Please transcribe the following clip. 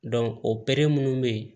o minnu bɛ yen